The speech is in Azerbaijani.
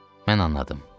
Mən anladım.